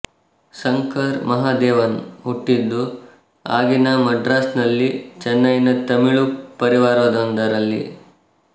ಶಂಕರ್ ಮಹಾದೇವನ್ ಹುಟ್ಟಿದ್ದು ಆಗಿನ ಮಡ್ರಾಸ್ ನಲ್ಲಿ ಚೆನ್ನೈ ನ ತಮಿಳು ಪರಿವಾರವೊಂದರಲ್ಲಿ